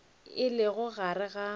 e lego gare ga maboto